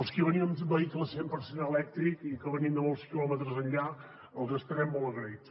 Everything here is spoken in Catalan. els qui venim amb vehicles cent per cent elèctrics i que venim de molts quilòmetres enllà els estarem molt agraïts